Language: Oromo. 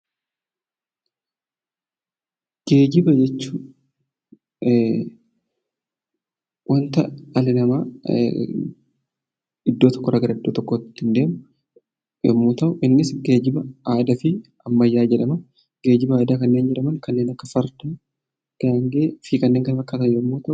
Geejiba jechuun waanta dhalli namaa iddoo tokko irraa gara iddoo tokkotti ittiin deemuu innis, innis geejiba aadaa fi ammayyaa jedhama. Geejiba aadaa kanneen jedhaman fardaa fi gaangee kanneen kana fakkaatanidha yemmuu ta'u